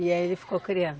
E aí ele ficou criando?